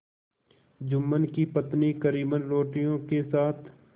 जुम्मन की पत्नी करीमन रोटियों के साथ